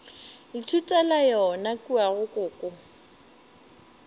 ithutela yona kua go koko